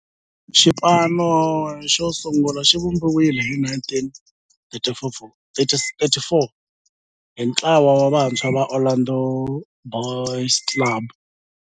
Xipano xosungula xivumbiwile hi 1934 hi ntlawa wa vantshwa va Orlando Boys Club.